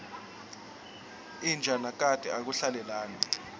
inja nakati akuhlalelani